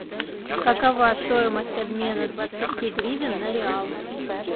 какова стоимость обмена двадцати гривен на реалы